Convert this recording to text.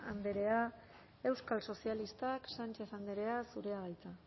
andrea euskal sozialistak sánchez andrea zurea da hitza